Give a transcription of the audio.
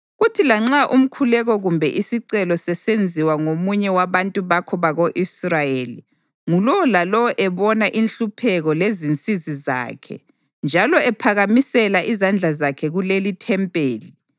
kuthi lanxa umkhuleko kumbe isicelo sisenziwa ngomunye wabantu bakho bako-Israyeli, ngulowo lalowo ebona inhlupheko lezinsizi zakhe njalo ephakamisela izandla zakhe kulelithempeli,